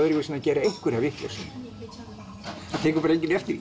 gera einhverja vitleysu það tekur bara enginn eftir því